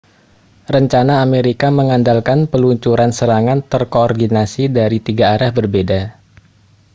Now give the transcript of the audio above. rencana amerika mengandalkan peluncuran serangan terkoordinasi dari tiga arah berbeda